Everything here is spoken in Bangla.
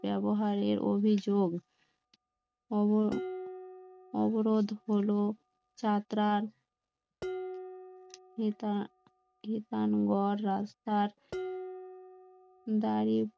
ব্যবহারের অভিযোগ অব~অবরোধ হলো যাত্রার তিতানগড়, রাস্তার